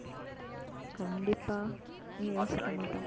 கண்டிப்பா ஏன் யோசிக்கமாட்டோம்